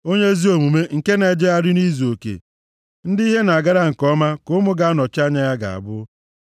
Onye ezi omume nke na-ejegharị nʼizuoke, ndị ihe na-agara nke ọma ka ụmụ ga-anọchi ya ga-abụ.